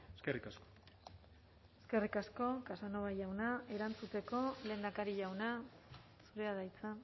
eskerrik asko eskerrik asko casanova jauna erantzuteko lehendakari jauna zurea da hitza